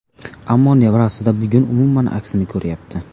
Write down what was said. Ammo nevarasida bugun umuman aksini ko‘rayapti.